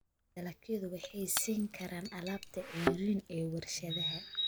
Dalagyadu waxay siin karaan alaabta ceeriin ee warshadaha.